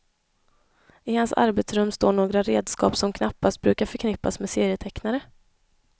I hans arbetsrum står några redskap som knappast brukar förknippas med serietecknare.